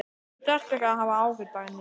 Þú þarft ekki að hafa áhyggjur, Dagný.